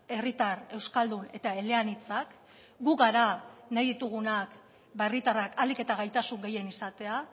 herritar euskaldun eta eleanitzak gu gara nahi ditugunak herritarrak ahalik eta gaitasun gehien izatea